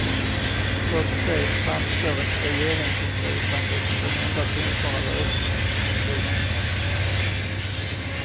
Trots det framstår ett regeringsingripande som den enda tänkbara lösningen på konflikten.